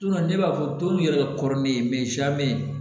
ne b'a fɔ dɔw yɛrɛ ka kɔrɔ ni ne ye